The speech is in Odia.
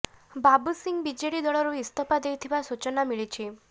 ବାବୁ ସିଂହ ବିଜେଡି ଦଳରୁ ଇସ୍ତଫା ଦେଇଥିବା ସୂଚନା ମିଳିଛି